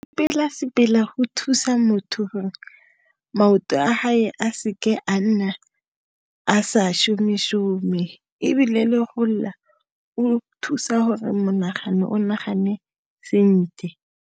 Go sepela-sepela, go thusa motho gore maoto a hae a seke a nna a sa šome-šome, ebile le go lela, o thusa gore monagano o nagane sentle.